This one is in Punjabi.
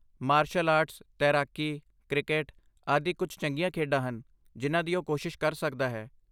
ਮਾਰਸ਼ਲ ਆਰਟਸ, ਤੈਰਾਕੀ, ਕ੍ਰਿਕੇਟ, ਆਦਿ ਕੁਝ ਚੰਗੀਆਂ ਖੇਡਾਂ ਹਨ ਜਿਨ੍ਹਾਂ ਦੀ ਉਹ ਕੋਸ਼ਿਸ਼ ਕਰ ਸਕਦਾ ਹੈ।